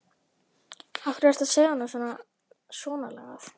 Af hverju ertu að segja honum svonalagað?